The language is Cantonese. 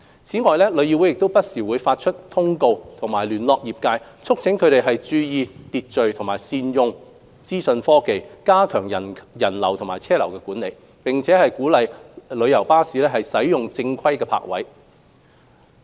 此外，旅議會不時發出通告及聯絡業界，促請他們注意秩序和善用資訊科技加強人流及車流管理，並鼓勵旅遊巴士使用正規泊位。